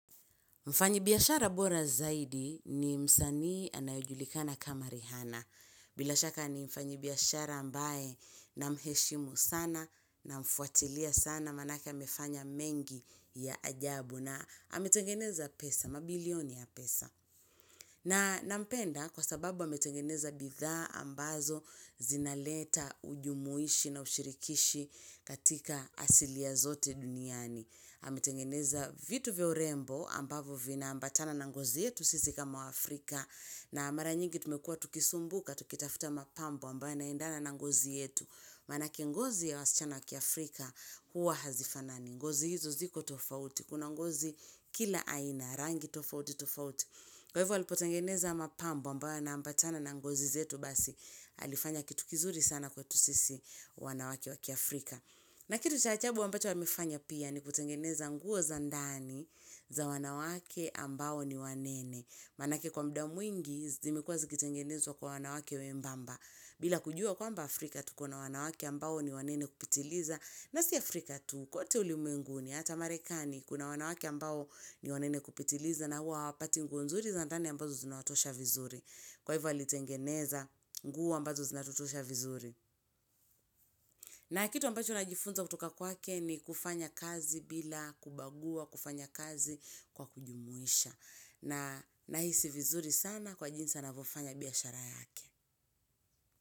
Mfanyibiashara bora zaidi ni msanii anayejulikana kama rihana. Bila shaka ni mfanyibiashara ambae namheshimu sana namfuatilia sana manake amefanya mengi ya ajabu na ametengeneza pesa, mabilioni ya pesa. Na nampenda kwa sababu ametengeneza bidhaa ambazo zinaleta ujumuishi na ushirikishi katika asilia zote duniani. Ametengeneza vitu vya urembo ambavyo vina ambatana na ngozi yetu sisi kama Afrika na mara nyingi tumekua tukisumbuka tukitafuta mapambo ambaye inaendana na ngozi yetu Manake ngozi ya wasichana wa kiafrika kuwa hazifanani ngozi hizo ziko tofauti, kuna ngozi kila aina, rangi tofauti tofauti Kwa hivo alipotengeneza mapambo ambayo yanambatana na ngozi yetu basi alifanya kitu kizuri sana kwetu sisi wanawake wa kiafrika na kitu cha ajabu ambacho amefanya pia ni kutengeneza nguo za ndani za wanawake ambao ni wanene. Manake kwa mda mwingi zimekuwa zikitengenezwa kwa wanawake wembamba. Bila kujua kwamba Afrika tuko na wanawake ambao ni wanene kupitiliza. Na si Afrika tu kwote ulimwenguni hata marekani kuna wanawake ambao ni wanene kupitiliza na hua hawapati nguo nzuri za ndani ambazo zinawatosha vizuri. Kwa hivyo alitengeneza nguo ambazo zinatutosha vizuri. Na kitu ambacho najifunza kutoka kwake ni kufanya kazi bila kubagua, kufanya kazi kwa kujumuisha. Na Nahisi vizuri sana kwa jinsi anavyofanya biashara yake.